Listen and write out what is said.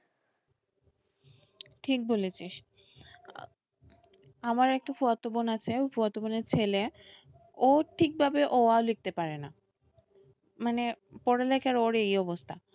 ঠিক বলেছিস আমার একটা ফুফাতো বোন আছে ফুফাতো বোনের ছেলে ও ঠিকভাবে অ আ লিখতে পারে না মানে পড়ালেখার ওর এই অবস্থা,